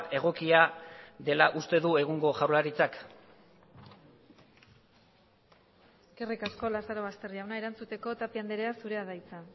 egokia dela uste du egungo jaurlaritzak eskerrik asko larazobaster jauna erantzuteko tapia andrea zurea da hitza